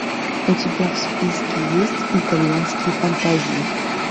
у тебя в списке есть итальянские фантазии